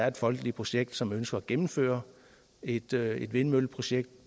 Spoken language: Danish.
et folkeligt projekt som ønsker at gennemføre et vindmølleprojekt